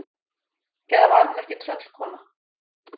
Eða var hún ekki tröllkona?